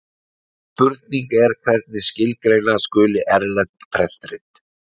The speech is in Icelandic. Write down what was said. Spurning er hvernig skilgreina skuli erlend prentrit.